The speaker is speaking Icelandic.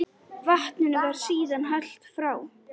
Vatninu var síðan hellt frá.